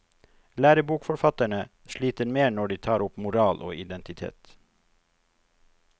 Lærebokforfatterne sliter mer når de tar opp moral og identitet.